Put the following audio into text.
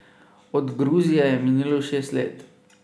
Od Gruzije je minilo šest let.